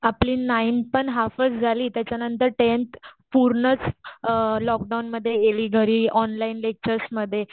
आपली नाइंथ पण हाल्फच झाली त्याच्यानंतर टेंथ पूर्णच लॉकडाऊन मध्ये एली घरी ऑनलाईन लेक्चरसमध्ये.